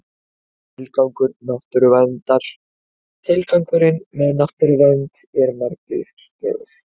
Tilgangur náttúruverndar Tilgangurinn með náttúruvernd er margvíslegur.